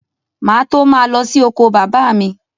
Má à tó ma lọ sí oko bàbá mj